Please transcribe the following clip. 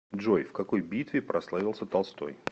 джой в какой битве прославился толстой